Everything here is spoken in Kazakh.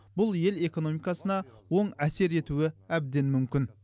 бұл ел экономикасына оң әсер етуі әбден мүмкін